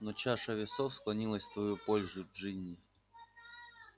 но чаша весов склонилась в твою пользу джинни